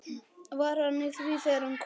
Var hann í því þegar hann kom?